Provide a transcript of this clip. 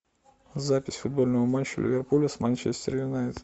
запись футбольного матча ливерпуля с манчестер юнайтед